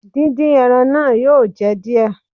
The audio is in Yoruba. Dín dín ẹran náà yóò jẹ díẹ̀.